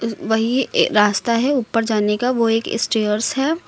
वहीं रास्ता है उपर जाने का वह एक स्टेयर्स है।